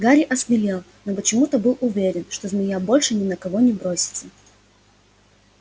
гарри осмелел но почему-то был уверен что змея больше ни на кого не бросится